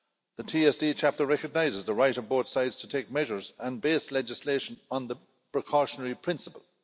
The TSD chapter recognises the right of both sides to take measures and base legislation on the precautionary principle.